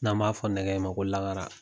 N'an b'a fɔ nɛgɛ in ma ko lagara.